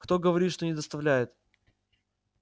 кто говорит что не доставляет